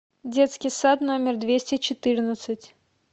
детский сад номер двести четырнадцать